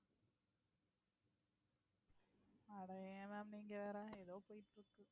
அட ஏன் ma'am நீங்க வேற ஏதோ போயிட்டு இருக்கு.